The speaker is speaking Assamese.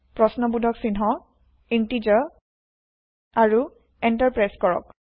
প্ৰশ্নবোধক চিহ্ন Integerইন্তেযাৰ আৰু এন্টাৰ প্ৰেছ কৰক